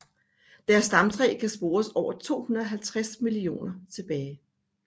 Deres stamtræ kan spores over 250 millioner år tilbage